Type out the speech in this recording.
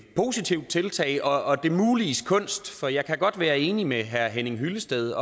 positivt tiltag og det muliges kunst for jeg kan godt være enig med herre henning hyllested